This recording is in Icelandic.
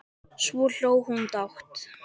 Svo hló hún dátt.